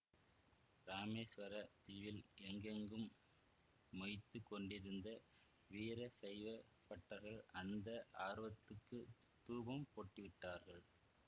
இராமேசுவரத் தீவில் எங்கெங்கும் மொய்த்துக் கொண்டிருந்த வீர சைவ பட்டர்கள் அந்த ஆர்வத்துக்குத் தூபம் போட்டுவிட்டார்கள்